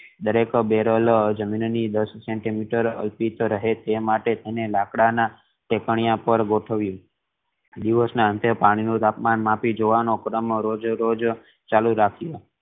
દરેક બેરલ જમીનની દસ સેન્ટિમીટર દૂર રહે તેથી તેને લાકડા ના ટેકનિયા પર ગોઠવ્યુ દિવસ ના અંતે પાણી નું તાપમાન માપી જોવનો ક્રમ દરરોજ ચાલુ રાખિયો